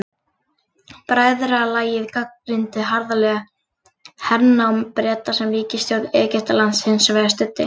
Bræðralagið gagnrýndi harðlega hernám Breta sem ríkisstjórn Egyptalands hins vegar studdi.